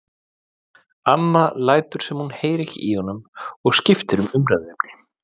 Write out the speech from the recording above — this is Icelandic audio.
Amma lætur sem hún heyri ekki í honum og skiptir um umræðuefni.